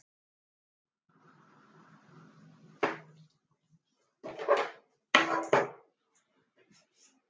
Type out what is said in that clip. Svavar: Hefur þú einhverja hugmynd um hvenær samkomulag getur náðst?